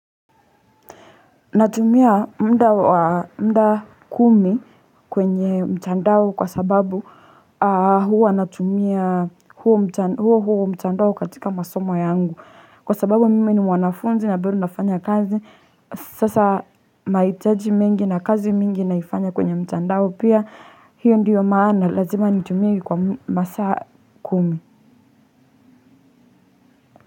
Natumia mda wa muda kumi kwenye mtandao kwa sababu aah huwa natumia huo huo mtandao katika masomo yangu kwa sababu mimi ni mwanafunzi na bado nafanya kazi, sasa nahitaji mengi na kazi mingi naifanya kwenye mtandao. Pia hiyo ndiyo maana lazima nitumie kwa masaa kumi.